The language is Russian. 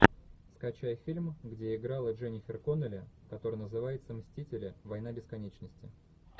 скачай фильм где играла дженнифер коннелли который называется мстители война бесконечности